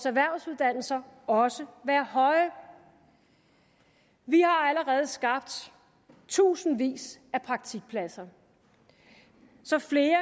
erhvervsuddannelserne også være høje vi har allerede skabt tusindvis af praktikpladser så flere